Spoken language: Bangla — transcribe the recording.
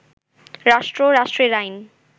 রাষ্ট্র, রাষ্ট্রের আইন